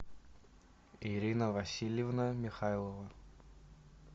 ирина васильевна михайлова